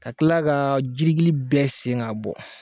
Ka tila ka jiri lili bɛ sen k'a bɔ.